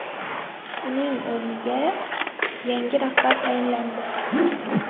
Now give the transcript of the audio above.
Uning o‘rniga yangi rahbar tayinlandi .